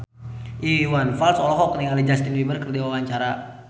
Iwan Fals olohok ningali Justin Beiber keur diwawancara